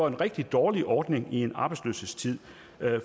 en rigtig dårlig ordning i en arbejdsløshedstid